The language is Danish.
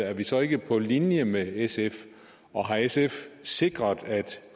er vi så ikke på linje med sf og har sfs sikret at